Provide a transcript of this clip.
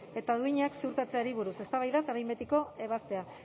eta duinak ziurtatzeari buruz eztabaida eta behin betiko ebazpena